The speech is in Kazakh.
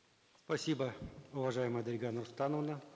спасибо уважаемая дарига нурсултановна